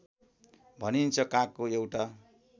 भनिन्छ कागको एउटा